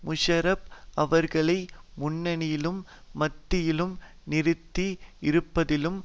முஷாரப் அவர்களை முன்னணியிலும் மத்தியிலும் நிறுத்தி இருப்பதிலும்